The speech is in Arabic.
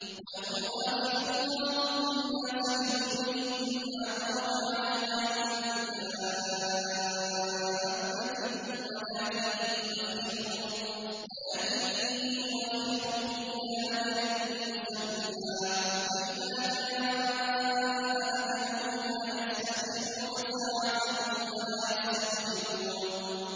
وَلَوْ يُؤَاخِذُ اللَّهُ النَّاسَ بِظُلْمِهِم مَّا تَرَكَ عَلَيْهَا مِن دَابَّةٍ وَلَٰكِن يُؤَخِّرُهُمْ إِلَىٰ أَجَلٍ مُّسَمًّى ۖ فَإِذَا جَاءَ أَجَلُهُمْ لَا يَسْتَأْخِرُونَ سَاعَةً ۖ وَلَا يَسْتَقْدِمُونَ